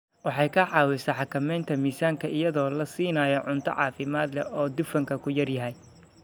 Waxay ka caawisaa xakamaynta miisaanka iyadoo la siinayo cunto caafimaad leh oo dufanku ku yar yahay.